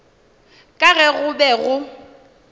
ka ge go be go